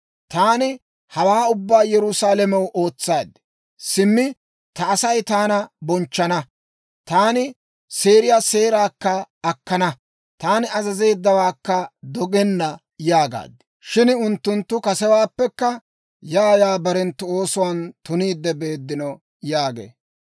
Taani hawaa ubbaa Yerusaalamew ootsaade, ‹Simmi ta Asay taana bonchchana; taani seeriyaa seeraakka akkana; taani azazeeddawaakka dogenna› yaagaad. Shin unttunttu kasewaappekka yaa yaa barenttu oosuwaan tuniidde beeddino» yaagee.